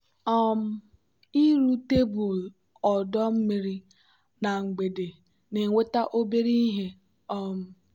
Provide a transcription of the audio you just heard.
um ịrụ tebụl ọdọ mmiri na mgbede na-enweta obere ihe. um